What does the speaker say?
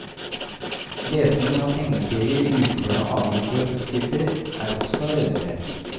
Lesningen av tegneserier, ukeblader, aviser og tidsskrifter er også redusert.